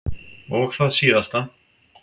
Og það síðasta.